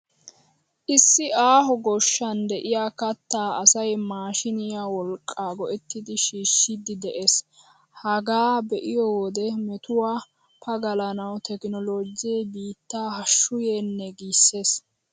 Issi aaho goshshan de'iyaa kattaa asay maashiiniyaa wolqqaa go'ettidi shiishshiidi de'ees. Hagaa be'iyo wode metuwaa pagalanawu tekinoloojee biittaa hashshu yeennee!! giissees.